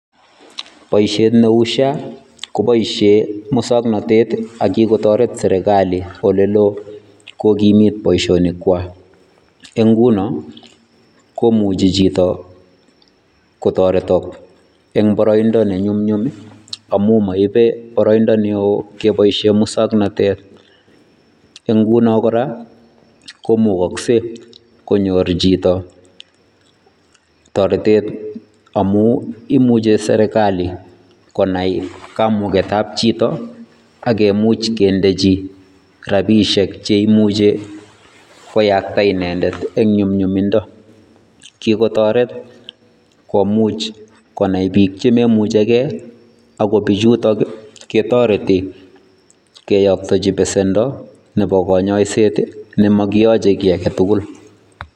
Boisiet neu social health authority kobaisheen musangnatet ak kikotareet serikali ole looh kokimiit boisionik kwaak ngunoo komuchei chitoo kotatetaak en baraindaa ne nyumnyum amuun maibe baraindaa ne wooh kebaisheen musangnatet, en ngunoo kora ko mukaksei konyoor chitoo taretet amuu imuche serikali konai kamugeet ab chitoo ak komuuch kendejii rapisheek cheimuje koyaktaa inendet en nyumnyumindaa kotaretiin konai biik chemamuchei gei akoot bichutoon ketaretii keyaktejii besendoo nebo kanyaiseet nemakiyachei kiy agei tugul.